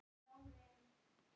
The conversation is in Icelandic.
Og á því!